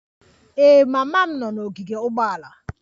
Ee, mama m nọ n'ogige ụgbọala